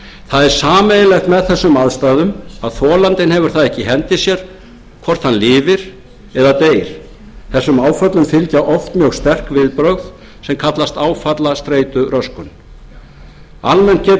það er sameiginlegt með þessum aðstæðum að þolandinn hefur það ekki í hendi sér hvort hann lifir eða deyr þessum áföllum fylgja oft mjög sterk viðbrögð sem kallast áfallastreituröskun almennt getur slík